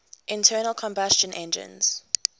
internal combustion engines